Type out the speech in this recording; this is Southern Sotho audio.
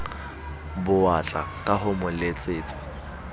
bowatla ka ho mo letsetsa